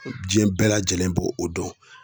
Diɲɛ bɛɛ lajɛlen b'o o dɔn.